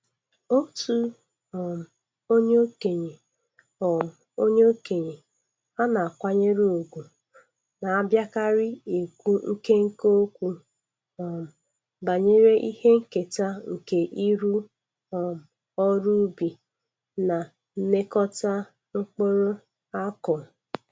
Otu um onye okenye um onye okenye a na-akwanyere ugwu na-abiakarị ekwu nkenke okwu um banyere ihe nketa nke ịrụ um ọrụ ubi na nịekọta mkpụrụ akụụ.